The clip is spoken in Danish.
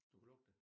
Du kunne lugte det